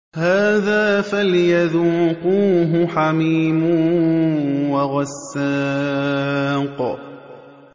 هَٰذَا فَلْيَذُوقُوهُ حَمِيمٌ وَغَسَّاقٌ